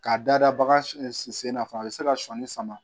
K'a dada bagan sen na fana a bɛ se ka sɔnni s sama